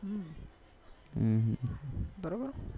બરોબર